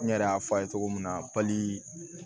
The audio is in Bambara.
N yɛrɛ y'a fɔ a ye cogo min na pali